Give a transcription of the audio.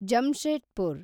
Jamshedpur